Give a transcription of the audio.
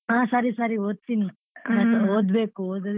ಹಾ ಸರಿ ಸರಿ ಓದ್ತೀನಿ ಓದ್ಬೇಕು ಓದದಿದ್ರೆ.